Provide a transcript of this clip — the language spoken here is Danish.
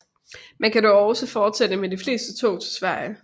Man kan dog også fortsætte med de fleste tog til Sverige